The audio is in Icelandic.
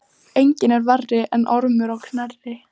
Enginn er verri en Ormur á Knerri.